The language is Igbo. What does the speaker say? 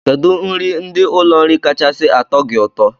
Kedụ nri ndị ụlọ nri kachasị atọ gị ụtọ?